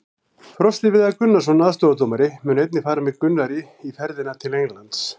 Frosti Viðar Gunnarsson, aðstoðardómari, mun einnig fara með Gunnari í ferðina til Englands.